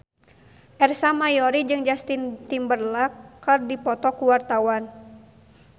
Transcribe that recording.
Ersa Mayori jeung Justin Timberlake keur dipoto ku wartawan